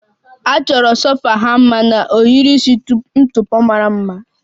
A chọrọ sofa ha mma na ohiri isi ntụpọ mara mma